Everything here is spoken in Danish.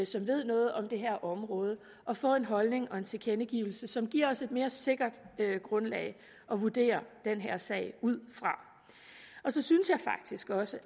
som ved noget om det her område og få en holdning og en tilkendegivelse som giver os et mere sikkert grundlag at vurdere den her sag ud fra og så synes jeg faktisk også